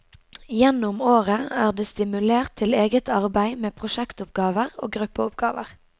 Gjennom året er det stimulert til eget arbeid med prosjektoppgaver og gruppeoppgaver.